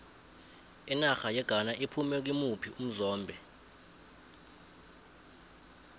inarha yeghana iphume kimuphi umzombe